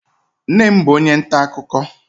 Nne m bụ onye nta akụkọ